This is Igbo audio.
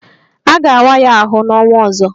A ga-awa ya ahụ n'ọnwa ọzọ